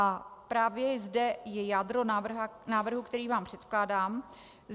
A právě zde je jádro návrhu, který vám předkládám.